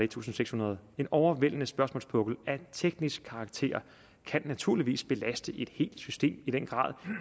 tusind seks hundrede en overvældende spørgsmålspukkel af teknisk karakter kan naturligvis belaste et helt system i den grad